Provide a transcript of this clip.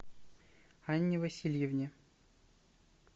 анне васильевне